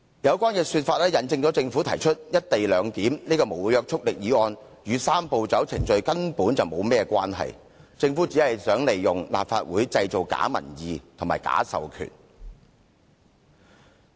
有關說法引證政府提出"一地兩檢"這項無約束力議案與"三步走"程序根本無甚關係。政府只是想利用立法會製造假民意和假授權。